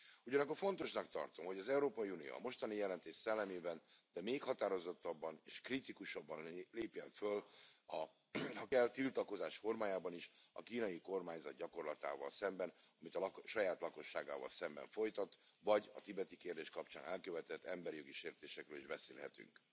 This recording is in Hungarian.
Ugyanakkor fontosnak tartom, hogy az Európai Unió a mostani jelentés szellemében, de még határozottabban és kritikusabban lépjen föl ha kell tiltakozás formájában is a kínai kormányzat gyakorlatával szemben, amit a saját lakosságával szemben folytat, vagy a tibeti kérdés kapcsán elkövetett emberi jogi sértésekről is beszélhetünk.